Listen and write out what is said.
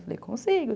Eu falei, consigo.